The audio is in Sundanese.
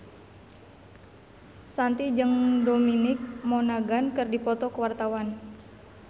Shanti jeung Dominic Monaghan keur dipoto ku wartawan